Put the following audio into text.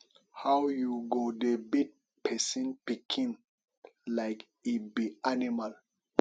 how you go dey beat person pikin like e be animal